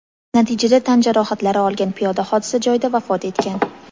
Natijada tan jarohatlari olgan piyoda hodisa joyida vafot etgan.